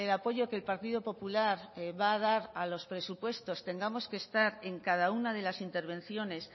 apoyo que el partido popular va a dar a los presupuestos tengamos que estar en cada una de las intervenciones